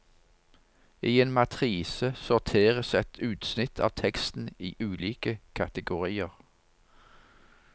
I en matrise sorteres et utsnitt av teksten i ulike kategorier.